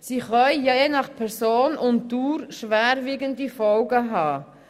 Je nach Person und Dauer können sie schwerwiegende Folgen haben.